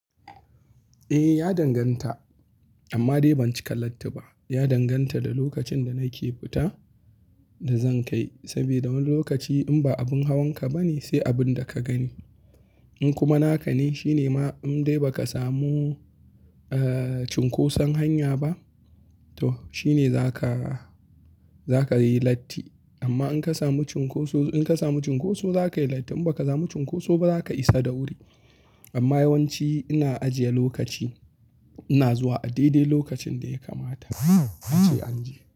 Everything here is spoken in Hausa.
Eh, ya danganta. Amma dai ban cika latti ba. Ya danganta da lokacin da nake fita da zan kai. Saboda wani lokaci in ba abin hawan ka ba ne, sai abin da ka gani. In kuma naka ne, shi ne ma in dai ba ka samu, eh, cunkoson hanya ba, to shi ne za ka, za ka yi latti. Amma in ka samu cunkoso, in ka samu cunkoso za ka yi latti. In ba ka samu cunkoso ba za ka isa da wuri. Amma yawanci ina ajiye lokaci, ina zuwa a daidai lokacin da ya kamata a ce an je.